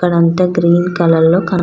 అక్కడ అంత green colour లో కాన --